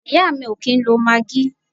Ìyá mi o kìí ń lo maggi.